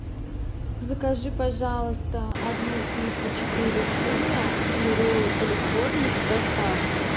закажи пожалуйста одну пиццу четыре сыра и роллы калифорния с доставкой